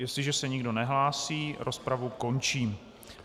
Jestliže se nikdo nehlásí, rozpravu končím.